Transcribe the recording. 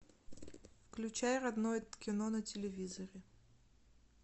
включай родное кино на телевизоре